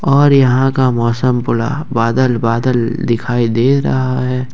और यहां का मौसम पूरा बादल बादल दिखाई दे रहा है।